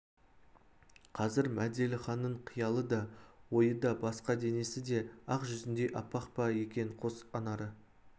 қазір мәделіханның қиялы да ойы да басқада денесі де ақ жүзіндей аппақ па екен қос анары